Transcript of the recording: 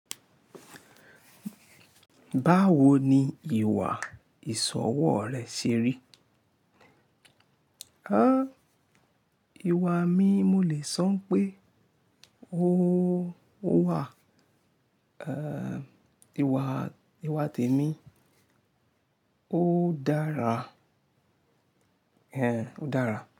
Báwo ni ìwà ìsọ̀wọ́ rẹ ṣe rí? Á, ìwà mi, mo lè sọ pé ó wà, ẹ́, ìwà, ìwà tèmi ó dára. Ehn, ó dára.